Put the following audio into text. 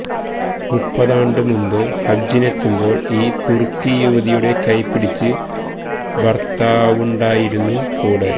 മുപ്പതാണ്ട് മുമ്പ് ഹജിനെത്തുമ്പോൾ ഈ തുർക്കി യുവതിയുടെ കൈപിടിച്ച് ഭർത്താവുണ്ടായിരുന്നു കൂടെ